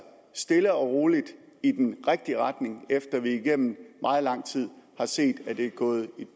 stille og roligt i den rigtige retning efter at vi igennem meget lang tid har set at det er gået